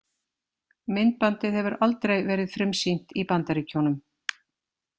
Myndbandið hefur aldrei verið frumsýnt í Bandaríkjunum.